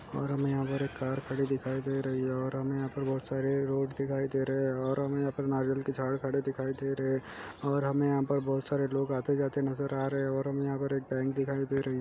और हमे यहाँ पर एक कार खड़ी दिखाई दे रही है और हमे यहाँ पर बहुत सारे रोड दिखाई दे रहे है और हमे यहाँ हमे नारियल के झाड़ खड़े दिखाई दे रहे है और हमे यहाँ पर बहुत सारे लोग आते जाते नजर आ रहे है और हमे यहाँ पर एक बैंक दिखाई दे रही हैं ।